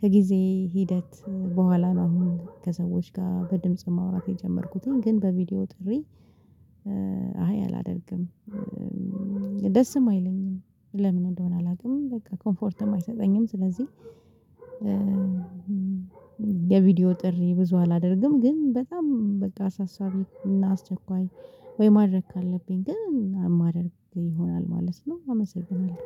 ከጊዜ ሂደት በኋላ ነው አሁን ከሰዎች ጋር በድምጽ ማውራት የጀመርኩትኝ ግን በቪዲዮ ጥሪ። አይ አላደርግም። ደስም አይለኝም ለምን እንደሆነ አላውቅም በቃ ኮምፎርትም አይሰጠኝም። ስለዚህ የቪዲዮ ጥሪ ብዙ አላደርግም። ግን በጣም በቃ አሳሳቢ እና አስቸኳይ ወይ ማድረግ ካለብኝ ግን ማድረግ ይሆናል ማለት ነው። አመሰግናለሁ